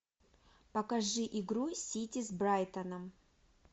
покажи игру сити с брайтоном